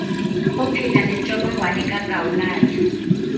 ophila nentsholongwane kagawulayo